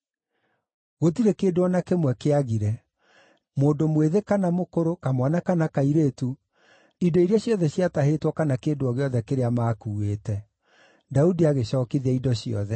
Gũtirĩ kĩndũ o na kĩmwe kĩagire: mũndũ mwĩthĩ kana mũkũrũ, kamwana kana kairĩtu, indo iria ciothe ciatahĩtwo kana kĩndũ o gĩothe kĩrĩa maakuuĩte. Daudi agĩcookithia indo ciothe.